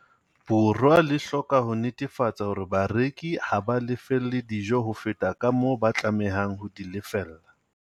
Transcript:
Borwa le hloka ho netefatsa hore bareki ha ba lefelle dijo ho feta kamoo ba tlamehang ho di lefella.